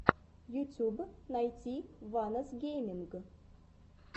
ютьюб найти ванос гейминг